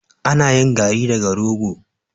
Ana yin garri daga rogo.